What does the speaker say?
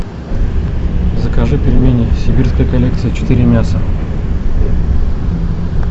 закажи пельмени сибирская коллекция четыре мяса